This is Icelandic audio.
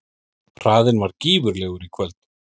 Hraðinn var gífurlegur í kvöld